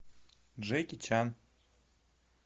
джеки чан